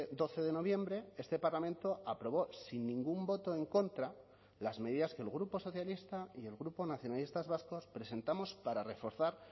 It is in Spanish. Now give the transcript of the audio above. doce de noviembre este parlamento aprobó sin ningún voto en contra las medidas que el grupo socialista y el grupo nacionalistas vascos presentamos para reforzar